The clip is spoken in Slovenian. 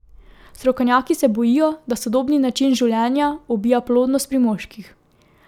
Strokovnjaki se bojijo, da sodobni način življenja ubija plodnost pri moških.